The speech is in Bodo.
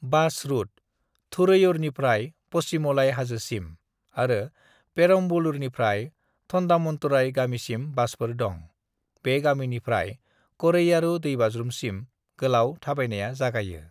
"बास रूटः थुरैयूरनिफ्राय पचीमलाई हाजोसिम, आरो पेरम्बलूरनिफ्राय थन्डामन्तुरई गामिसिम बासफोर दं। बे गामिनिफ्राय करैयारू दैबाज्रुमसिम गोलाव थाबायनाया जागायो।"